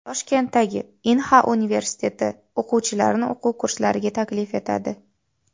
Toshkentdagi Inha universiteti o‘quvchilarni o‘quv kurslariga taklif etadi.